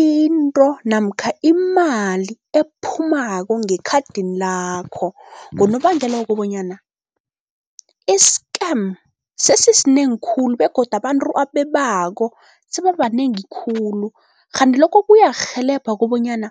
into namkha imali ephumako ngekhadini lakho. Ngonobangela wokobanyana i-scam sesisinengi khulu begodu abantu abebako sebabanengi khulu, kghanti lokho kuyakurhelebha kobonyana